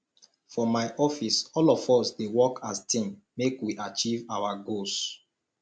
for my office all of us dey work as team make we achieve our goals